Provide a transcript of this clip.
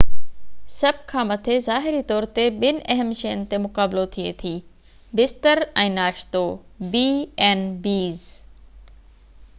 سڀ کان مٿي b&bs ظاهري طور تي ٻن اهم شين تي مقابلو ٿئي ٿي بستر ۽ ناشتو